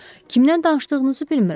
Kimdən danışdığınızı bilmirəm.